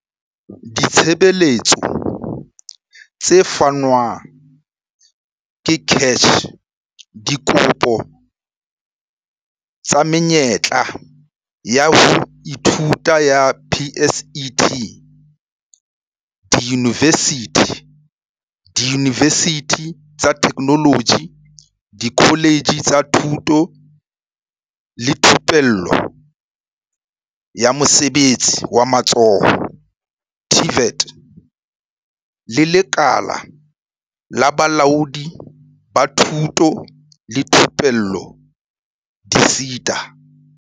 Ditshebeletso tse fanwang ke CACH Dikopo tsa menyetla ya ho ithuta ya PSET diyunivesithi, diyunivesithi tsa Theknoloji, dikoletje tsa Thuto le Thupello ya Mosebetsi wa Matsoho TVET le Lekala la Bolaodi ba Thuto le Thupello di-SETA.